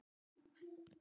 Ég græt mikið núna.